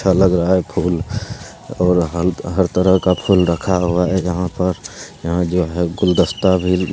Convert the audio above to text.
अच्छा लग रहा है फूल और हत हर तरह का फूल रखा हुआ है यहां पर यहां जो है गुलदस्ता भी --